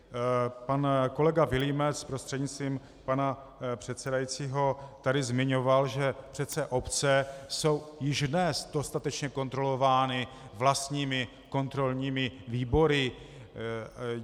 Pan kolega Vilímec prostřednictvím pana předsedajícího tady zmiňoval, že přece obce jsou již dnes dostatečně kontrolovány vlastními kontrolními výbory.